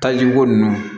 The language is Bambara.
Tajiko ninnu